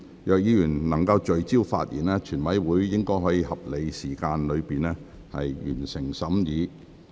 若委員能聚焦發言，全體委員會應可在合理時間內完成審議。